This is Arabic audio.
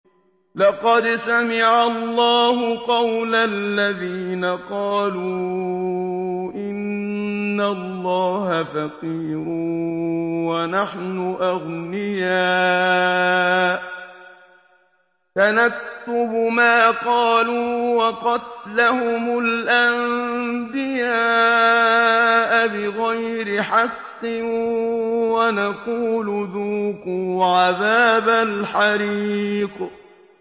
لَّقَدْ سَمِعَ اللَّهُ قَوْلَ الَّذِينَ قَالُوا إِنَّ اللَّهَ فَقِيرٌ وَنَحْنُ أَغْنِيَاءُ ۘ سَنَكْتُبُ مَا قَالُوا وَقَتْلَهُمُ الْأَنبِيَاءَ بِغَيْرِ حَقٍّ وَنَقُولُ ذُوقُوا عَذَابَ الْحَرِيقِ